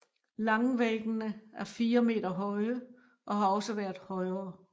Langvæggene er 4 meter høje og har også været højere